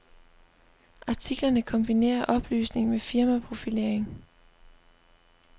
Artiklerne kombinerer oplysning med firmaprofilering.